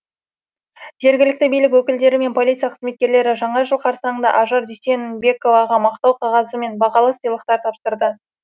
жергілікті билік өкілдері мен полиция қызметкерлері жаңа жыл қарсаңында ажар дүйсенбековаға мақтау қағазы мен бағалы сыйлықтар тапсырды